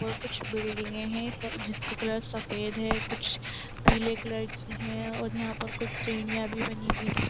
और कुछ बिल्डिंगे हैं स जिसका कलर सफ़ेद है। कुछ पीले कलर की हैं और यहाँ पर कुछ सीडियाँ भी बनी हुईं हैं।